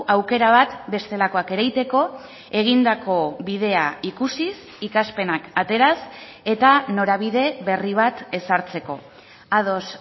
aukera bat bestelakoak ere egiteko egindako bidea ikusiz ikaspenak ateraz eta norabide berri bat ezartzeko ados